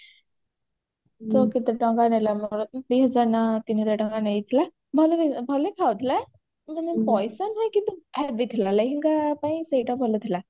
କେତେ ଟଙ୍କା ନେଲା ମୋର ଦିହଜାର ନା ତିନିହଜାର ଟଙ୍କା ନେଇଥିଲା ଭଲ ଭଲ ଦେଖା ଯାଉଥିଲା କିନ୍ତୁ ପଇସା ନାଇଁ କିନ୍ତୁ ଭଲ ଥିଲା ଲେହେଙ୍ଗା ପାଇଁ ସେଇଟା ଭଲ ଥିଲା